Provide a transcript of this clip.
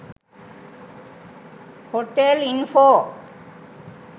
hotel info